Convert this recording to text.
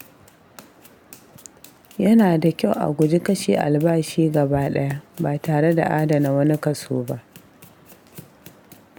Yana da kyau a guji kashe albashi gaba ɗaya ba tare da adana wani kaso ba.